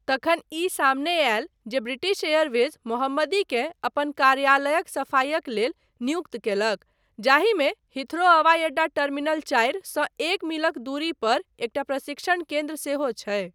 तखन ई सामने आयल जे ब्रिटिश एयरवेज मोहम्मदीकेँ अपन कार्यालयक सफाइक लेल नियुक्त कयलक जाहिमे हीथ्रो हवाई अड्डा टर्मिनल चारि सँ एक मीलक दूरी पर एकटा प्रशिक्षण केन्द्र सेहो छै।